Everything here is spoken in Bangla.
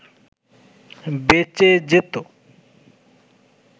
বেঁচে যেত